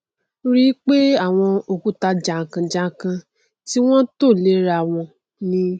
rí i pẹ àwọn òkúta jànkànjànkàn tí wọn tò lé rawọn ni